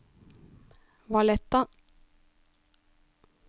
Valletta